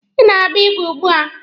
Ị na-agba igwe ugbua?